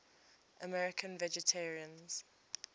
american vegetarians